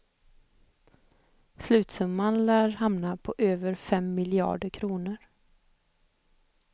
Slutsumman lär hamna på över fem miljarder kronor.